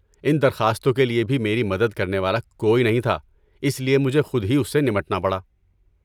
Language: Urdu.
ان درخواستوں کے لیے بھی میری مدد کرنے والا کوئی نہیں تھا، اس لیے مجھے خود ہی اس سے نمٹنا پڑا۔